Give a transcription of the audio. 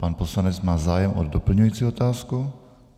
Pan poslanec má zájem o doplňující otázku.